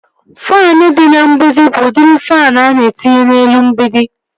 Faanụ dị n'mgbidi bụ udiri faanụ ana etinye n'elu mgbidi